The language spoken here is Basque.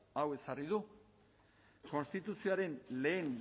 hau ezarri du konstituzioaren lehen